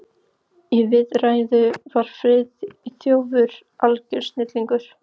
Í viðræðu var Friðþjófur algjör snillingur.